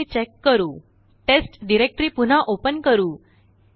आता ते चेक करुTest डायरेक्टरी पुन्हा ओपन करू